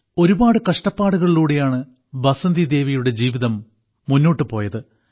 ഒരുപാട് കഷ്ടപാടുകളിലൂടെയാണ് ബസന്തിദേവിയുടെ ജീവിതം മുന്നോട്ടുപോയത്